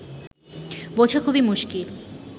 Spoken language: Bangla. বোঝা খুবই মুশকিল